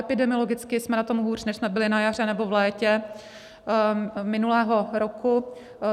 Epidemiologicky jsme na tom hůř, než jsme byli na jaře nebo v létě minulého roku.